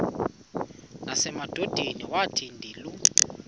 nasemadodeni wathi ndilu